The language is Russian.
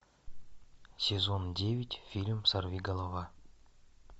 сезон девять фильм сорвиголова